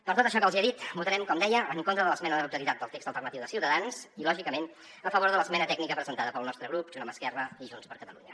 per tot això que els he dit votarem com deia en contra de l’esmena a la totalitat del text alternatiu de ciutadans i lògicament a favor de l’esmena tècnica presentada pel nostre grup junt amb esquerra i junts per catalunya